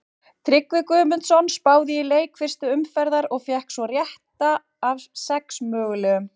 Tryggvi Guðmundsson spáði í leiki fyrstu umferðar og fékk tvo rétta af sex mögulegum.